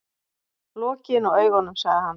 Lokiði nú augunum, sagði hann.